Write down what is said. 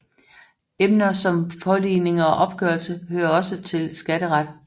Emner som påligning og opgørelse hører også til skatteret